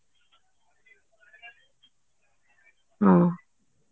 ହଁ